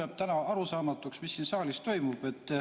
Mulle jääb täna arusaamatuks, mis siin saalis toimub.